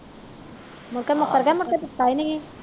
ਮੋਕੋ ਮੁਕਰ ਗਿਆ ਮੁੜ ਕੇ ਦਿੱਤਾ ਹੀ ਨਹੀਂ